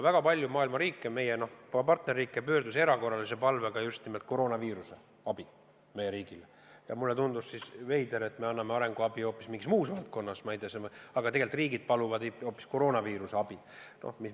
Väga paljud meie partnerriigid pöördusid erakorralise palvega just nimelt koroonaviirusega seotud abi saamiseks ja mulle tundus veider, et me anname arenguabi hoopis mingis muus valdkonnas, aga tegelikult riigid paluvad hoopis koroonaviiruse tõrjumiseks abi.